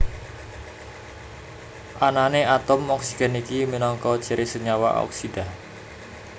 Anané atom oksigen iki minangka ciri senyawa oksida